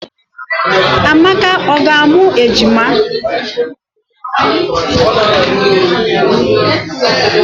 Amaka ọ ga amụ ejima?